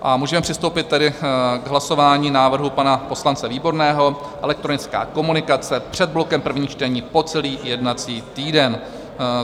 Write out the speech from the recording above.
A můžeme přistoupit tedy k hlasování návrhu pana poslance Výborného - elektronická komunikace před blokem prvních čtení, po celý jednací týden.